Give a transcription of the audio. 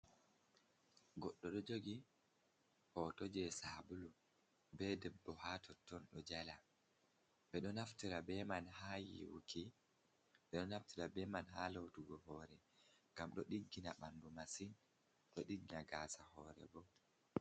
Goɗɗo ɗo jogi hoto jei saabulu be debbo ha totton ɗo jala. Ɓedo naftira ha yiwuki ɓedo naftira be man ha loutugo hoore ngam ɗo diggina bandu masin ɗo diggina gasa hoore bo.